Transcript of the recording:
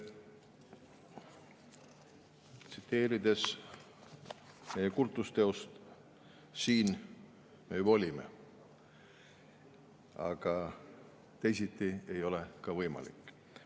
Tsiteerides meie kultusteost: siin me juba olime, aga teisiti ei ole ka võimalik.